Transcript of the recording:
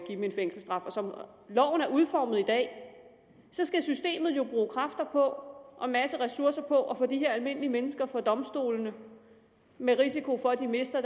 dem en fængselsstraf som loven er udformet i dag skal systemet jo bruge kræfter og en masse ressourcer på at få de her almindelige mennesker for domstolene med risiko for at de mister